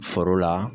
Foro la